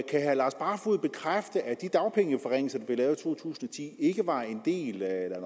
kan herre lars barfoed bekræfte at de dagpengeforringelser der blev lavet i to tusind og ti ikke var en del af